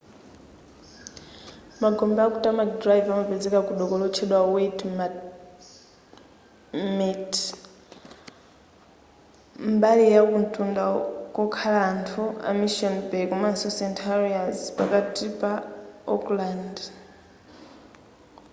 magombe aku tamaki drive amapezeka ku doko lotchedwa waitemata mbali yakumtunda kokhala anthu ku mission bay komanso st heliers pakati pa auckland